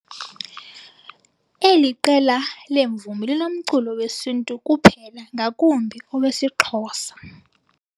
Eli qela leemvumi linomculo wesintu kuphela ngakumbi owesiXhosa.